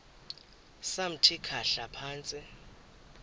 samthi khahla phantsi